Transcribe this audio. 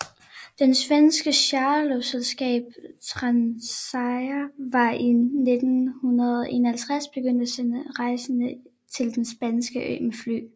Det svenske charterluftfartsselskab Transair var i 1951 begyndt at sende rejsende til den spanske ø med fly